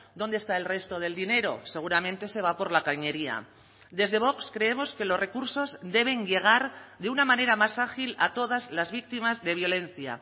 dónde está el resto del dinero seguramente se va por la cañería desde vox creemos que los recursos deben llegar de una manera más ágil a todas las víctimas de violencia